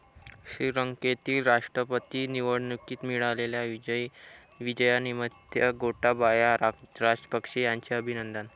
श्रीलंकेतील राष्ट्रपती निवडणुकीत मिळालेल्या विजयानिमित्त गोटाबाया राजपक्षे यांचे अभिनंदन.